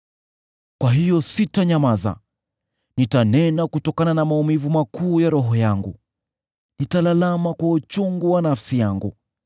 “Kwa hiyo sitanyamaza; nitanena kutokana na maumivu makuu ya roho yangu, nitalalama kwa uchungu wa nafsi yangu.